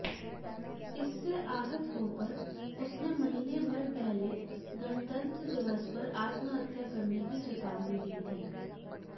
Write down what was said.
इससे आहत होकर उसने महीनेभर पहले गणतंत्र दिवस पर आत्महत्या करने की चेतावनी दी थी